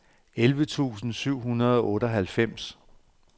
elleve tusind syv hundrede og otteoghalvfems